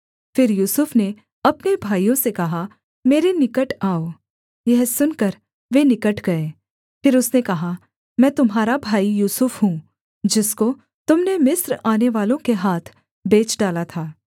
फिर यूसुफ ने अपने भाइयों से कहा मेरे निकट आओ यह सुनकर वे निकट गए फिर उसने कहा मैं तुम्हारा भाई यूसुफ हूँ जिसको तुम ने मिस्र आनेवालों के हाथ बेच डाला था